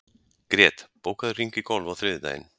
Grét, bókaðu hring í golf á þriðjudaginn.